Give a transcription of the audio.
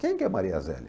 Quem que é Maria zélia?